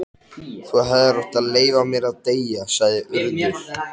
Þú hefðir átt að leyfa mér að deyja- sagði Urður.